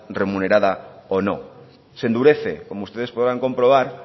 remunerada o no se endurece como ustedes podrán comprobar